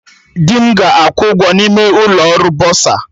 Di m ga-akwụ ụgwọ n'ime ụkọ ọrụ bọsa